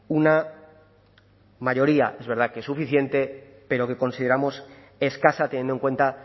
una mayoría es verdad que suficiente pero que consideramos escasa teniendo en cuenta